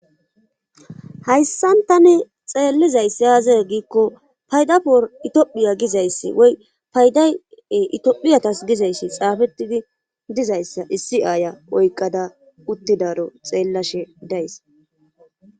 hayssantani xeellizayss aaze giikko payda por itophiya gizayssi woy paydae itphiyatas gizayssi xaafettidi dizayssa issi aaya oykqada uttidaro xeellashe days